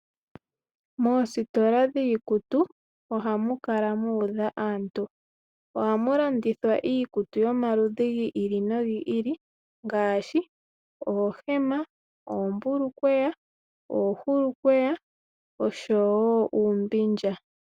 Moositola dhiikutu ohamu kala muudha aantu . Ohamu landithwa iikutu yomaludhi go ili nogi ili ngaashi oohema, oombulukweya, oohulukweya oshowo uumbindja.